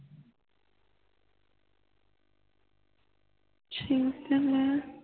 ਛੇ ਤਾਮਿਲ